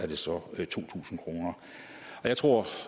det så to tusind kroner jeg tror